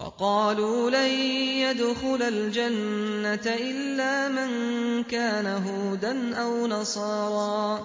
وَقَالُوا لَن يَدْخُلَ الْجَنَّةَ إِلَّا مَن كَانَ هُودًا أَوْ نَصَارَىٰ ۗ